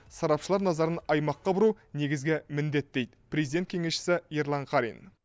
сарапшылар назарын аймаққа бұру негізгі міндет дейді президент кеңесшісі ерлан қарин